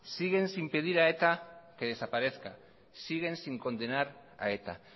siguen sin pedir a eta que desaparezca siguen sin condenar a eta